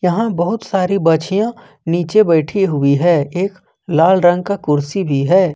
यहां बहुत सारी बच्चियाँ नीचे बैठी हुई है एक लाल रंग का कुर्सी भी है।